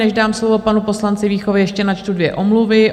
Než dám slovo panu poslanci Víchovi, ještě načtu dvě omluvy.